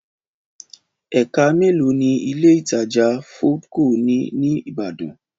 Ẹ̀ka mélòó ni Ilé-ìtajà Foodco ní ní Ìbàdàn?